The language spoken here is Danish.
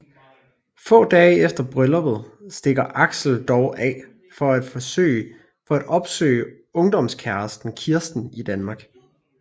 Få dage efter brylluppet stikker Axel dog af for at opsøge ungdomskæresten Kirsten i Danmark